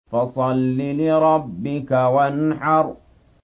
فَصَلِّ لِرَبِّكَ وَانْحَرْ